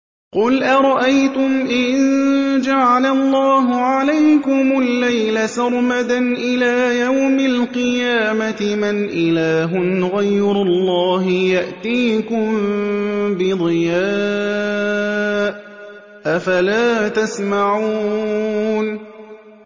قُلْ أَرَأَيْتُمْ إِن جَعَلَ اللَّهُ عَلَيْكُمُ اللَّيْلَ سَرْمَدًا إِلَىٰ يَوْمِ الْقِيَامَةِ مَنْ إِلَٰهٌ غَيْرُ اللَّهِ يَأْتِيكُم بِضِيَاءٍ ۖ أَفَلَا تَسْمَعُونَ